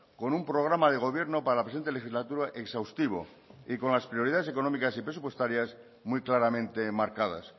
con un programa de gobierno para la presente legislatura exhaustivo y con las prioridades económicas y presupuestarias muy claramente marcadas